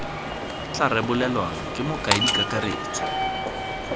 tla rebolwang ke mokaedi kakaretso